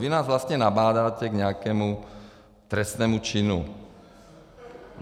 Vy nás vlastně nabádáte k nějakému trestnému činu.